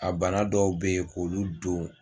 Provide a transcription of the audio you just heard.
A bana dɔw bɛ ye k'olu don